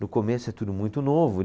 No começo é tudo muito novo.